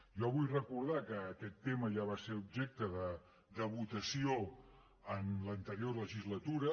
jo vull recordar que aquest tema ja va ser objecte de votació en l’anterior legislatura